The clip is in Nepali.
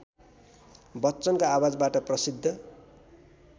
बच्चनको आवाजबाट प्रसिद्ध